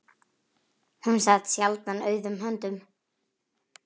Hún sat sjaldan auðum höndum.